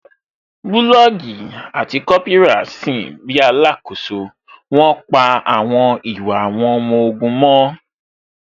Bulọọgi àti Kópírà sin bíi alakoso, wón pa àwọn ìwà àwọn ọmọ ogun mọ́